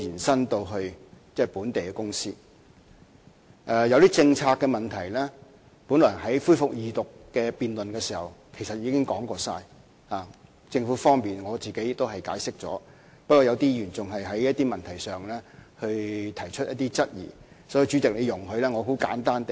關於一些政策的問題，本來在恢復二讀辯論時，我們也已一一作出解釋，不過有些議員仍就某些問題提出質疑，所以，主席，請你容許我很簡單地解釋。